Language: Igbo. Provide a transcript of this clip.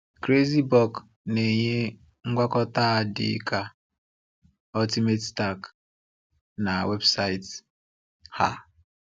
CrazyBulk na-enye ngwakọta a dịka Ultimate Stack na weebụsaịtị ha.